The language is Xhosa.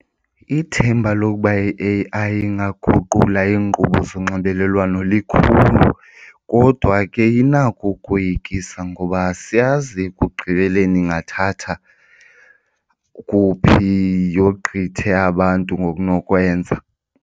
Ithemba lokuba i-A_I ingaguqula iinkqubo zonxibelelwano likhulu kodwa ke inako ukoyikisa ngoba asiyazi ekugqibeleni ingathatha kuphi yogqithe abantu ngokunokwenza.